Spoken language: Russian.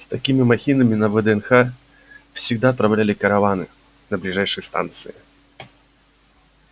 с такими махинами на вднх всегда отправляли караваны на ближайшие станции